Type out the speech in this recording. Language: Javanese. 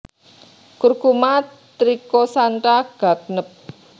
Curcuma trichosantha Gagnep